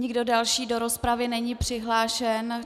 Nikdo další do rozpravy není přihlášen.